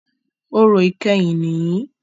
Orò ìkẹyìn nìyí.